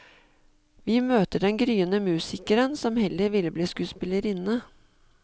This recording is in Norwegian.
Vi møter den gryende musikeren som heller vil bli skuespillerinne.